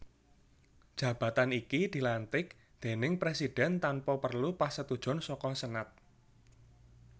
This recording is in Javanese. Jabatan iki dilantik déning Presidhèn tanpa perlu pasetujon saka Senat